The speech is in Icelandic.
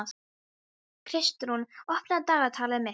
Kristrún, opnaðu dagatalið mitt.